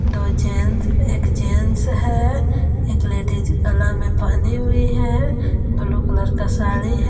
दो जेन्स एक जेन्स है। एक लेडिस गला मे पहनी हुई है ब्लू कलर का साड़ी--